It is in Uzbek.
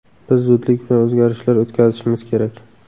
Biz zudlik bilan o‘zgarishlar o‘tkazishimiz kerak.